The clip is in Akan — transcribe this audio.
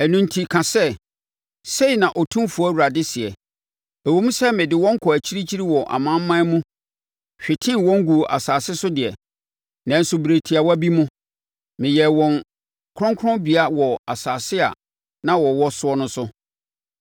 “Ɛno enti ka sɛ, ‘Sei na Otumfoɔ Awurade seɛ: Ɛwom sɛ mede wɔn kɔɔ akyirikyiri wɔ amanaman mu, hwetee wɔn guu nsase so deɛ, nanso berɛ tiawa bi mu no, meyɛɛ wɔn kronkronbea wɔ nsase a na wɔwɔ soɔ no so.’